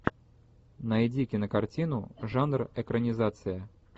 найди кинокартину жанр экранизация